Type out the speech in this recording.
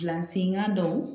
Gilan senkan dɔw